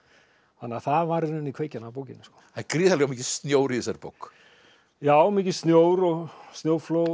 þannig að það var í raun og veru kveikjan að bókinni það er gríðarlega mikill snjór í þessari bók já mikill snjór og snjóflóð